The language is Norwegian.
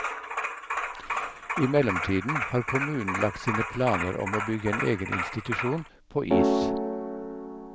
I mellomtiden har kommunen lagt sine planer om å bygge en egen institusjon på is.